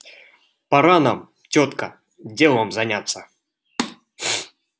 пора нам тётка делом заняться